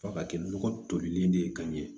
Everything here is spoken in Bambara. F'a ka kɛ nɔgɔ tolilen de ye ka ɲɛ